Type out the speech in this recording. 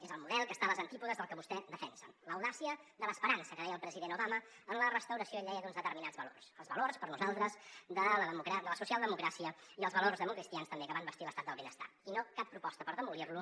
és el model que està als antípodes del que vostè defensa l’audàcia de l’esperança que deia el president obama en la restauració ell deia d’uns determinats valors els valors per nosaltres de la socialdemocràcia i els valors democristians també que van bastir l’estat del benestar i no cap proposta per demolir lo